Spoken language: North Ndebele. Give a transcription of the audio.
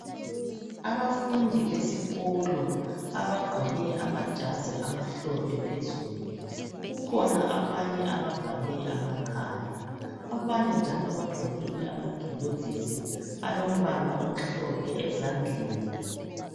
Abafundi besikolo abagqoke amajazi amhlophe phezulu kukhona abanye abavale amakhala abanye njalo bagqokile amagilovisi alombala omhlophe ezandleni